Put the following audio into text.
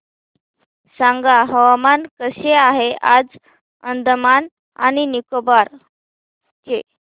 सांगा हवामान कसे आहे आज अंदमान आणि निकोबार चे